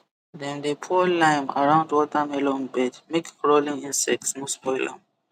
dem dey pour lime around watermelon bed make crawling insect no spoil am